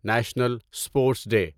national sports day